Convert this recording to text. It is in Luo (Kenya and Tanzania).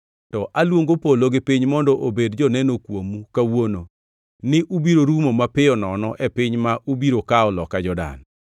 to aluongo polo gi piny mondo obed joneno kuomu kawuono, ni ubiro rumo mapiyo nono e piny ma ubiro kawo loka Jordan.